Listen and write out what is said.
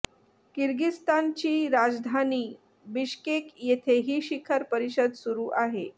किर्गिस्तानची राजधानी बिश्केक येथे ही शिखर परिषद सुरू आहे